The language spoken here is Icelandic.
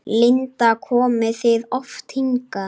Linda: Komið þið oft hingað?